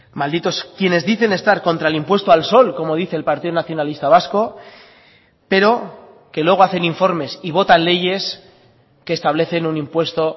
malditos quienes dicen estar contra el impuesto al sol como dice el partido nacionalista vasco pero que luego hacen informes y votan leyes que establecen un impuesto